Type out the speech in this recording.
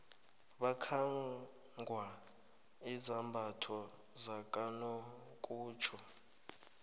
bakhangwa izambatho zakanokutjho